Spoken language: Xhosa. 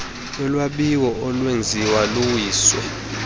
yolwabiwo olwenziwo luwiso